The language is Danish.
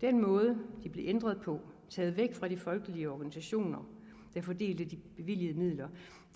den måde de blev ændret på taget væk fra de folkelige organisationer der fordelte de bevilgede midler